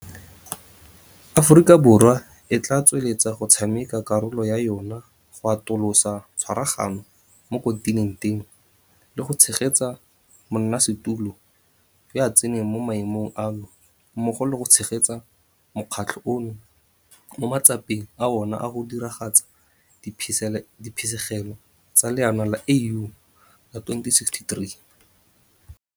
Aforika Borwa e tla tswelela go tshameka karolo ya yona go atolosa tshwaragano mo kontinenteng, le go tshegetsa monnasetulo yo a tsenang mo maemong ano mmogo le go tshegetsa mokgatlho ono mo matsapeng a ona a go diragatsa diphisegelo tsa Leano la AU la 2063.